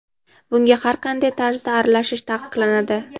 bunga har qanday tarzda aralashish taqiqlanadi.